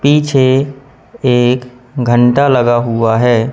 पीछे एक घंटा लगा हुआ है।